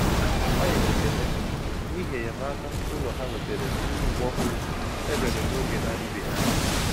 Ha nyere ekele n’ihi enyémàkà ụlọ ha nwetara site n’iwu òhùrù e mere n'oge na-adịbeghị anya.